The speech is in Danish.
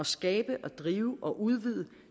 skabe og drive og udvide